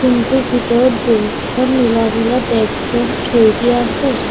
Room টোৰ ভিতৰত বহুকেইখন নীলা নীলা ডেস্ক বেঞ্চ থৈ দিয়া আছে।